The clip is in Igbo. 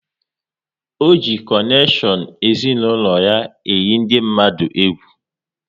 Ọ ji konekshion ezinaụlọ ya eyi ndị mmadụ egwu